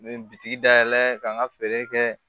N bɛ bitiki dayɛlɛ ka n ka feere kɛ